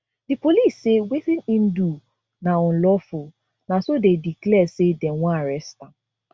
di police say wetin im do na unlawful na so dey declare say dey wan arrest am